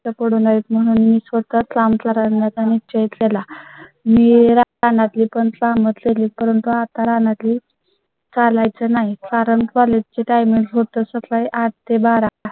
त्यांना कष्ट पडू नयेत म्हणून मी स्वतः काम करण्यात णिश्चय केल मी रानातली कंस मधली करून तो आता राहणार नाही? चालाय चं नाही. कारण College ची Timing होतं. सकाळीआठ ते बारा.